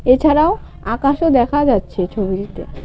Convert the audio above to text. এছাড়াও আকাশও দেখা যাচ্ছে ছবিটিতে।